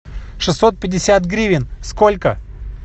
шестьсот пятьдесят гривен сколько